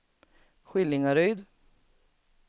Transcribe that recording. Skillingaryd